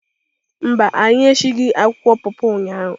Mba, anyị esighị akwụkwọ pọpọ ụnyahụ